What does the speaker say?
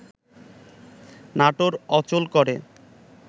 নাটোর অচল করে